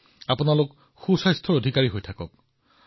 আৰু আপুনি স্বাস্থ্যৱান হৈ থাকে